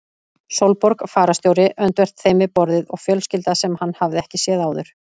Sólborg fararstjóri öndvert þeim við borðið og fjölskylda sem hann hafði ekki séð áður.